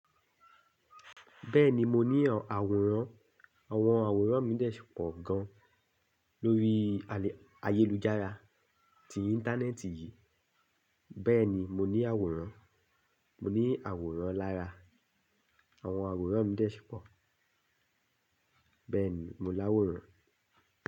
Bẹ́ẹ̀ni mo ní àwòrán, àwọn àwòrán mi dẹ̀ ṣí pọ̀ gan lorí ayélujára ti Íńtánẹ́ẹ̀tì yìí. Bẹ́ẹ̀ni mo ní àwòrán, mo ní àwòrán lára. Àwọn àwòrán mi dà ṣípọ̀. Bẹ́ẹ̀ni mo láwòrán.